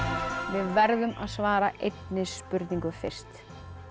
við veðrum að svara einni spurningu fyrst